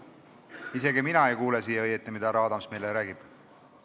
Isegi mina ei kuule õieti, mida härra Adams meile räägib.